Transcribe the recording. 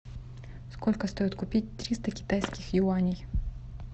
сколько стоит купить триста китайских юаней